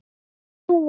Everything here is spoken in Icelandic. Hann vill fljúga.